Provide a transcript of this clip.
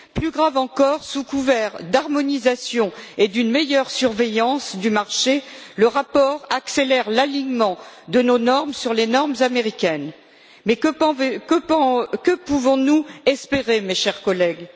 Plus grave encore, sous couvert d'harmonisation et d'une meilleure surveillance du marché, le rapport accélère l'alignement de nos normes sur les normes américaines. Mais que pouvons nous espérer, mes chers collègues?